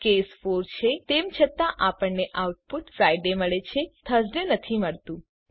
case 4 છે તેમ છતાં આપણને આઉટપુટ ફ્રિડે મળે છે થર્સડે નથી મળતું